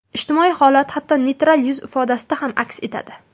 Ijtimoiy holat hatto neytral yuz ifodasida ham aks etadi.